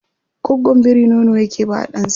Gwaggon biri nono yake ba wa ɗansa